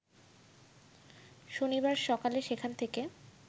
শনিবার সকালে সেখান থেকে